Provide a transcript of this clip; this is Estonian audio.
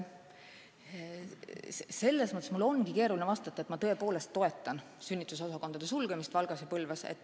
Selles mõttes mul ongi keeruline vastata, et ma tõepoolest toetan sünnitusosakondade sulgemist Valgas ja Põlvas.